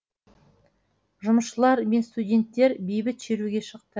жұмысшылар мен студенттер бейбіт шеруге шықты